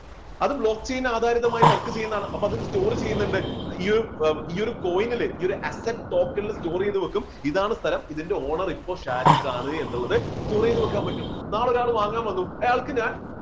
അത് block chain ആധാരിതമായി work ചെയ്യുന്നതാണ്. അപ്പോ അതിൽ store ചെയ്യുന്നുണ്ട്. ഈയൊരു coin നില് ഈ ഒരു asset token store ചെയ്തു വെക്കും ഇതാണ് സ്ഥലം ഇതിന്റെ owner ഇപ്പോൾ ഷാരിഖ് ആണ് എന്നുള്ളത് store ചെയ്തു വെക്കാൻ പറ്റും നാളെ ഒരാൾ വാങ്ങാൻ വന്നു അയാൾക്ക് ഞാൻ